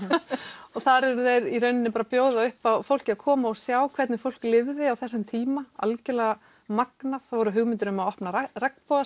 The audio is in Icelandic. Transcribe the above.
og þar eru þeir í rauninni að bjóða fólki að koma og sjá hvernig fólk lifði á þessum tíma algerlega magnað það voru hugmyndir um að opna